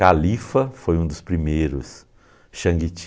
Califa foi um dos primeiros, Xangiti.